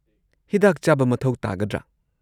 ꯍꯤꯗꯥꯛ ꯆꯥꯕ ꯃꯊꯧ ꯇꯥꯒꯗ꯭ꯔꯥ?